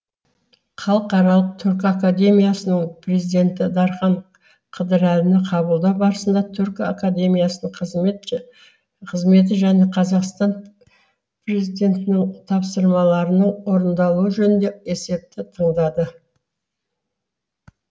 халықаралық түркі академиясының президенті дархан қыдырәліні қабылдау барысында түркі академиясының қызметі және қазақстан президентінің тапсырмаларының орындалуы жөнінде есепті тыңдады